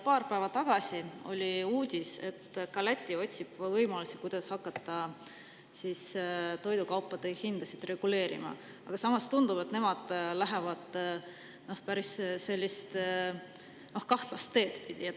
Paar päeva tagasi oli uudis, et ka Läti otsib võimalusi, kuidas hakata toidukaupade hinda reguleerima, aga samas tundub, et nemad lähevad sellist päris kahtlast teed pidi.